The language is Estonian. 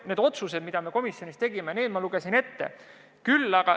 Need otsused, mis me komisjonis tegime, ma lugesin ette.